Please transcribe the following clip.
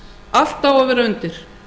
allt á að vera undir